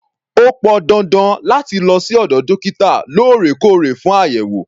O pọn dandan láti lọ sí ọ̀dọ̀ dókítà lóòrèkóòrè fún àyẹ̀wò.